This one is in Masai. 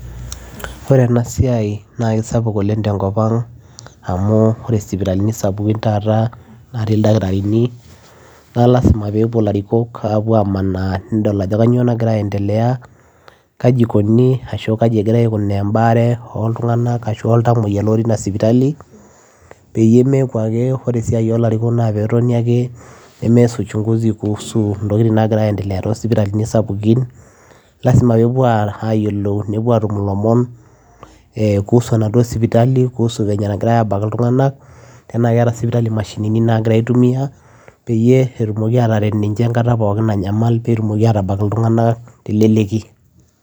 Ore ena siai naa kisapuk oleng tenkop ang amuu oree isipitalini sapukin naatii ildakitarini na lazima peyiee epuo ilarikok amaana nedol ajoo kanyioo nagiraa andelea kaji egira embaree aikunarii peyiee meeku meesitaa uchunguzi kuhusu entokin naagira andelea tosipitalini sapukin lazima peyiee epuo atum ilomon kuhusu enaduo sipitali ashua tenaa keeta sipitali imashinini naagira aaitumia peyiee eret ninje enkataa nanyamal